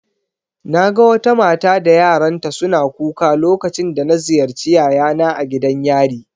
Naga wata mata da yaranta suna kuka lokacin da na ziyarci yayana a gidan yari